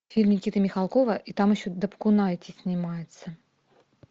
фильм никиты михалкова и там еще дапкунайте снимается